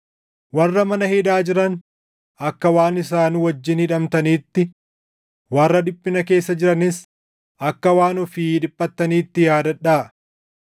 Warra mana hidhaa jiran akka waan isaan wajjin hidhamtaniitti, warra dhiphina keessa jiranis akka waan ofii dhiphattaniitti yaadadhaa.